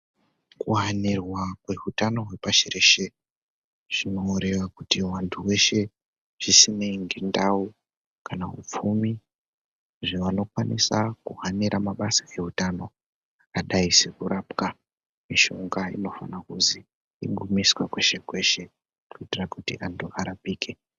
Kuvanirwa kwehutano hwepashi reshe zvinoreva kuti vantu veshe zvisinei ngendau kanaupfumi. Izvo anokwanisa kuhanira mabasa eutano akadai sekurapwa, mishonga inofanira kuzi imbomiswe kwese-kwese. kuitira kuti antu arapike.